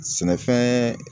Sɛnɛfɛn